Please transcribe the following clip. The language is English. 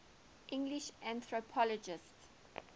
english anthropologists